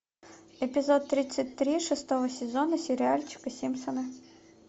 эпизод тридцать три шестого сезона сериальчика симпсоны